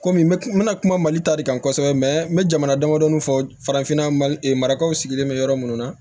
Komi me n bɛna kuma mali ta de kan kosɛbɛ n bɛ jamana damadɔ fɔ farafinna marikaw sigilen bɛ yɔrɔ minnu na